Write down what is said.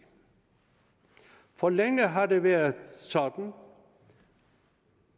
for længe har det været sådan